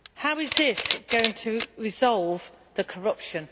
How is this going to resolve the corruption?